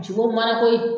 Jogo mana ko ye